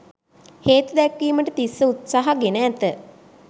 හේතු දැක්වීමට තිස්ස උත්සහ ගෙන ඇත.